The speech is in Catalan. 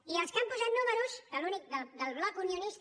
i els que han posat números que l’únic del bloc unio nista